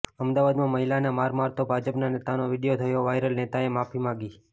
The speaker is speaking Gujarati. અમદાવાદમાં મહિલાને માર મારતો ભાજપના નેતાનો વીડિયો થયો વાયરલઃ નેતાએ માગી માફી